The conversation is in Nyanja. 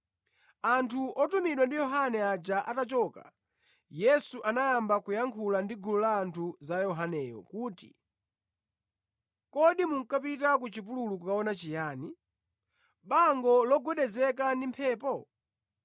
Anthu otumidwa ndi Yohane aja atachoka, Yesu anayamba kuyankhula ndi gulu la anthu za Yohaneyo kuti, “Kodi munkapita ku chipululu kukaona chiyani? Bango logwedezeka ndi mphepo?